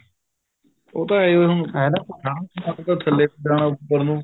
ਉਹ ਤਾਂ ਹੈ ਹੀ ਥੱਲੇ ਨੂੰ ਜਾਣਾ ਉੱਪਰ ਨੂੰ